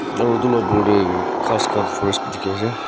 aro edu la opor tae ghas khan forest bi dikhiase.